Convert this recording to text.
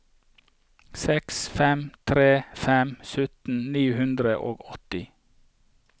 seks fem tre fem sytten ni hundre og åtti